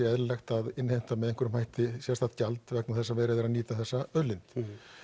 eðlilegt að innheimta með einhverjum hætti sérstakt gjald vegna þess að verið er að nýta þessa auðlind